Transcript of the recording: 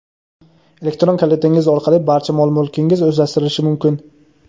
Elektron kalitingiz orqali barcha mol-mulkingiz o‘zlashtirilishi mumkin.